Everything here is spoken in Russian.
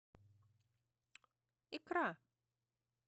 икра